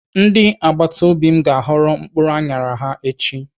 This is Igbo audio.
Ndị agbatobi m ga-aghọ mkpụrụ aṅara ha echi.